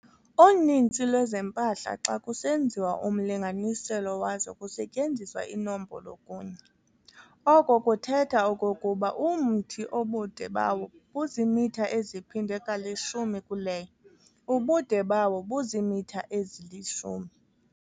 Uninzi lweempahla xa kusenziwa umlinganiselo wazo kusetyenziswa inombolo kunye ]. Oko kuthetha okokuba umthi obude bawo buzimitha eziphindwe kalishumi kuleyo ] ubude bawo buzimitha ezili-10.